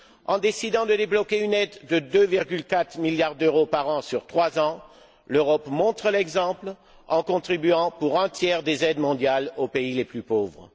En décidant de débloquer une aide de 2,4 milliards d'euros par an sur trois ans, l'Europe montre l'exemple en comptant pour un tiers des aides mondiales aux pays les plus pauvres.